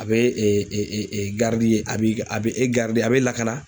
A bɛ a bɛ a bɛ a bɛ lakana.